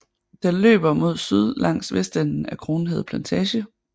Den løber mod syd langs vestenden af Kronhede Plantage